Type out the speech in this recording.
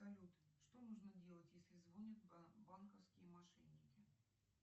салют что нужно делать если звонят банковские мошенники